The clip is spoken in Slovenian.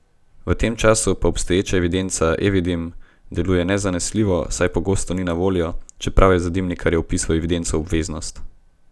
V tem času pa obstoječa evidenca Evidim deluje nezanesljivo, saj pogosto ni na voljo, čeprav je za dimnikarje vpis v evidenco obveznost.